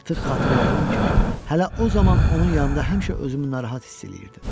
Artıq xatırladığım kimi, hələ o zaman onun yanında həmişə özümü narahat hiss eləyirdim.